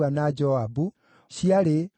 na cia Zakai ciarĩ 760,